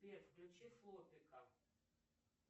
сбер включи флопика